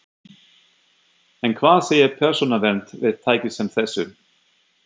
En hvað segir Persónuvernd við tæki sem þessu?